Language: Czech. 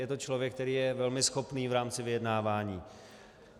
Je to člověk, který je velmi schopný v rámci vyjednávání.